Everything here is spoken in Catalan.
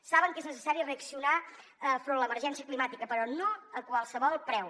saben que és necessari reaccionar enfront de l’emergència climàtica però no a qualsevol preu